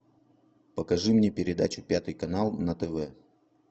покажи мне передачу пятый канал на тв